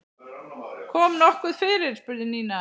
Kom nokkuð fyrir? spurði Nína.